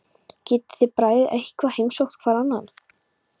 Getið þið bræður eitthvað heimsótt hvor annan?